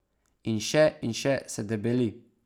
In še in še se debeli.